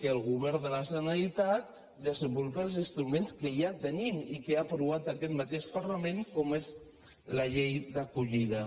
que el go·vern de la generalitat desenvolupi els instruments que ja tenim i que ja ha aprovat aquest mateix parlament com és la llei d’acollida